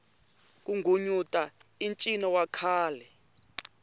ku nghunyuta i ncino wa khale